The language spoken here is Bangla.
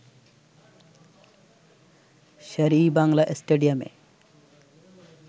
শের-ই-বাংলা স্টেডিয়ামে